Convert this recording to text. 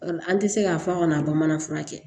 An tɛ se k'a fɔ a ka na bamanan fura kɛ